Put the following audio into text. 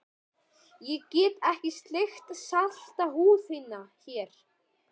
Ég get ekki sleikt salta húð þína hér.